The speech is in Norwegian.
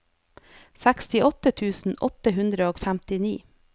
sekstiåtte tusen åtte hundre og femtini